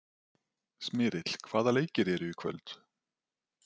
Smyrill, hvaða leikir eru í kvöld?